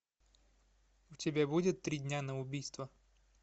у тебя будет три дня на убийство